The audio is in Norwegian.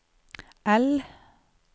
L